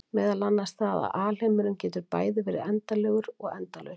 Meðal annars það að alheimurinn getur bæði verið endanlegur og endalaus.